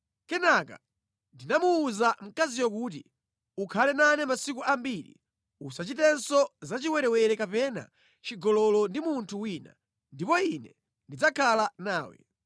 Kenaka ndinamuwuza mkaziyo kuti, “Ukhale nane masiku ambiri; usachitenso zachiwerewere kapena chigololo ndi munthu wina, ndipo ine ndidzakhala nawe.”